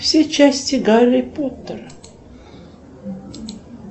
все части гарри поттера